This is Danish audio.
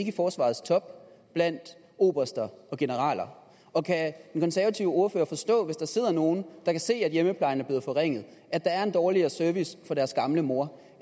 i forsvarets top blandt oberster og generaler og kan den konservative ordfører forstå hvis der sidder nogle der kan se at hjemmeplejen er blevet forringet at der er en dårligere service til deres gamle mor